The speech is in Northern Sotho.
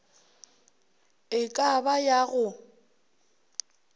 e ka ba ya go